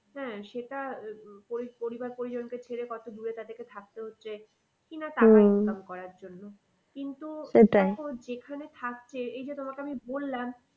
হ্যাঁ সেটা পরিবার পরিজনদের ছেড়ে কত দূরে তাদেরকে থাকতে হচ্ছে কি না করার জন্য কিন্তু যেখানে থাকছে এই যে তোমাকে আমি বললাম